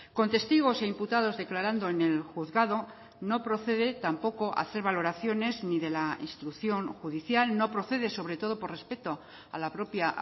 con testigos e imputados declarando en el juzgado no procede tampoco hacer valoraciones ni de la instrucción judicial no procede sobre todo por respeto a la propia